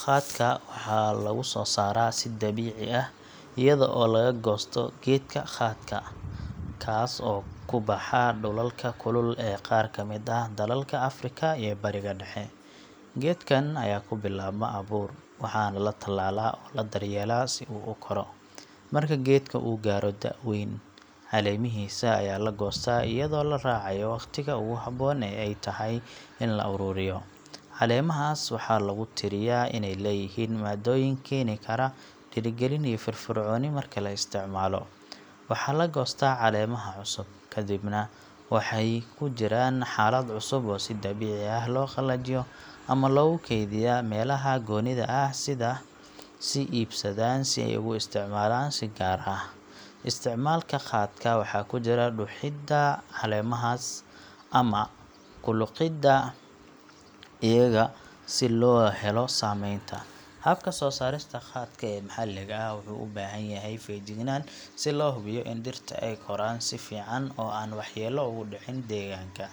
Khatka waxaa lagu soo saaraa si dabiici ah iyada oo laga goosto geedka khatka, kaas oo ku baxa dhulalka kulul ee qaar ka mid ah dalalka Afrika iyo Bariga Dhexe. Geedkan ayaa ka bilaabma abuur, waxaana la tallaa oo la daryeelaa si uu u koro. Marka geedka uu gaadho da' weyn, caleemihiisa ayaa la goostaa iyadoo la raacayo waqtiga ugu habboon ee ay tahay in la ururiyo. Caleemahaas waxaa lagu tiriyaa inay leeyihiin maadooyin keeni kara dhiirigelin iyo firfircooni marka la isticmaalo. Waxaa la goostaa caleemaha cusub, ka dibna waxay ku jiraan xaalad cusub oo si dabiici ah loo qalajiyo ama loogu kaydiyaa meelaha goonida ah si ay u sii ilaaliyaan tayadooda. Markaas kadib, khatka ayaa loo iib geeyaa suuqa, halkaas oo ay dadku ka iibsadaan si ay ugu isticmaalaan si gaar ah. Isticmaalka khatka waxaa ku jira dhuuxidda caleemaha ama ku liqidda iyaga si loo helo saameynta. Habka soo saarista khatka ee maxalliga ah wuxuu u baahan yahay feejignaan si loo hubiyo in dhirta ay koraan si fiican oo aan waxyeello ugu dhicin deegaanka.